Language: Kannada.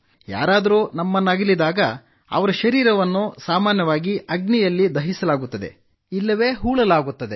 ಯಾರಾದರೂ ನಮ್ಮನ್ನಗಲಿದಾಗ ಅವರ ಶರೀರವನ್ನು ಅಗ್ನಿಯಲ್ಲಿ ದಹಿಸಲಾಗುತ್ತದೆ ಇಲ್ಲವೆ ಹೂಳಲಾಗುತ್ತದೆ